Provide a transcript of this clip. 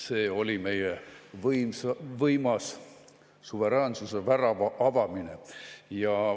See oli meil võimas suveräänsuse värava avamine.